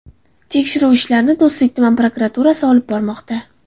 Tekshiruv ishlarini Do‘stlik tumani prokuraturasi olib bormoqda.